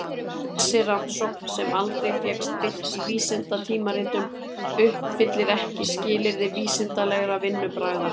Þessi rannsókn sem aldrei fékkst birt í vísindatímaritum uppfyllir ekki skilyrði vísindalegra vinnubragða.